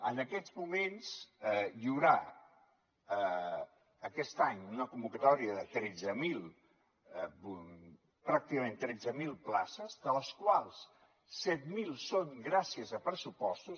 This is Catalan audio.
en aquests moments hi haurà aquest any una convocatòria de tretze mil pràcticament tretze mil places de les quals set mil són gràcies a pressupostos